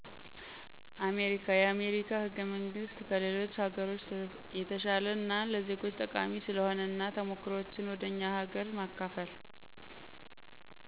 አሜሪካ የአሜሪካ ህገመንግስት ከሌሎች ሀገሮች የተሸለ እና ለዜጎች ጠቃሚ ስለሆነ እና ተሞክሮዎችን ወደ እኛ ሀገር መከፈል